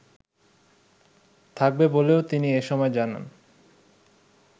থাকবে বলেও তিনি এসময় জানান